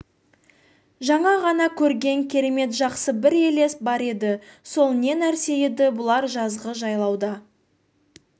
жаңа ғана көрген керемет жақсы бір елес бар еді сол не нәрсе еді бұлар жазғы жайлауда